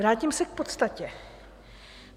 Vrátím se k podstatě.